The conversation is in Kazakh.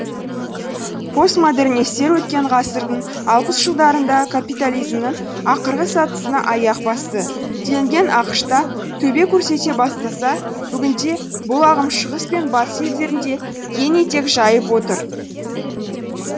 постмодернистер өткен ғасырдың алпыс жылдарында капитализмнің ақырғы сатысына аяқ басты делінген ақш та төбе көрсете бастаса бүгінде бұл ағым шығыс пен батыс елдерінде кең етек жайып отыр